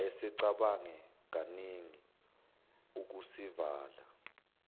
wayesecabange kaningi ukusivala